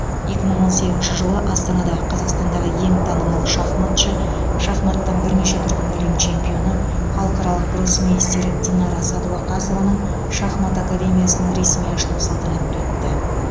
екі мың он сегізінші жылы астанада қазақстандағы ең танымал шахматшы шахматтан бірнеше дүркін әлем чемпионы халықаралық гроссмейстер динара сәдуақасованың шахмат академиясының ресми ашылу салтанаты өтті